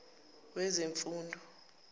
wezemfundo